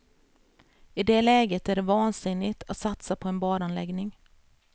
I det läget är det vansinnigt att satsa på en badanläggning.